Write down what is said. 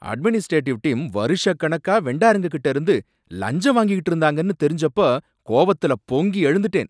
Administrative team வருஷக்கணக்கா வெண்டாருங்ககிட்டேந்து லஞ்சம் வாங்கிகிட்டு இருந்தாங்கனு தெரிஞ்சப்போ கோவத்துல பொங்கி எழுந்துட்டேன்.